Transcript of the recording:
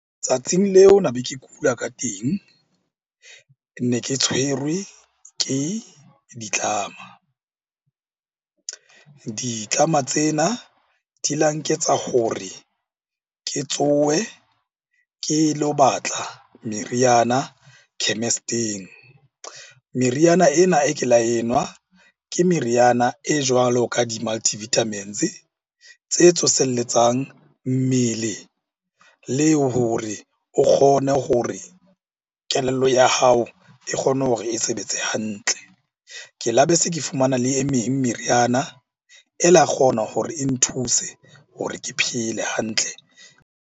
Tsatsing leo na be ke kula ka teng, me ke tshwerwe ke ditlama. Ditlama tsena di la nketsa hore ke tsohe ke lo batla meriana chemist-ing. Meriana ena e ke la enwa ke meriana e jwalo ka di-multivitamins tse tsoselletsang mmele leo hore o kgone hore kelello ya hao e kgone hore e sebetse hantle. Ke la be se ke fumana le e meng meriana e la kgona hore e nthuse hore ke phele hantle.